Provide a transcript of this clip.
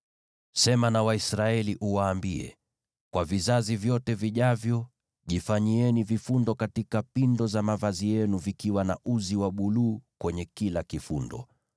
“Sema na Waisraeli uwaambie: ‘Kwa vizazi vyote vijavyo jifanyieni vifundo katika pindo za mavazi yenu vikiwa na uzi wa buluu kwenye kila kifundo.